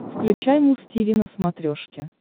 включай муз тиви на смотрешке